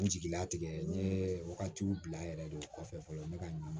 N jigila tigɛ n ye wagatiw bila yɛrɛ de o kɔfɛ fɔlɔ ne ka ɲama